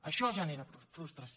això genera frustració